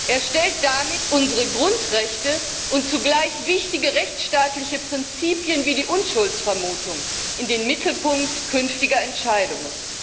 Er stellt damit unsere Grundrechte und zugleich wichtige rechtsstaatliche Prinzipien wie die Unschuldsvermutung in den Mittelpunkt künftiger Entscheidungen.